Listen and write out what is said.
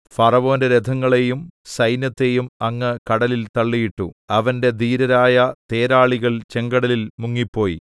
ഫറവോന്റെ രഥങ്ങളെയും സൈന്യത്തെയും അങ്ങ് കടലിൽ തള്ളിയിട്ടു അവന്റെ ധീരരായ തേരാളികൾ ചെങ്കടലിൽ മുങ്ങിപ്പോയി